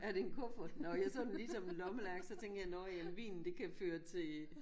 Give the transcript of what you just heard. Er det en kuffert? Nå jeg så den lige som en lommelærke så tænkte jeg nåh ja men vinen det kan føre til